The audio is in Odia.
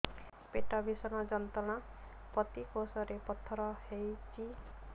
ପେଟ ଭୀଷଣ ଯନ୍ତ୍ରଣା ପିତକୋଷ ରେ ପଥର ହେଇଚି